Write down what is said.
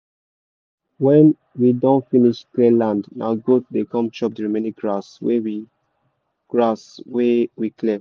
when we don finsh clear land na goat dey come chop the remaining grass wey we grass wey we clear